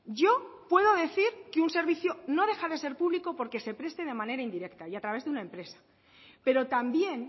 yo puedo decir que un servicio no deja de ser público por que se preste de manera indirecta y a través de una empresa pero también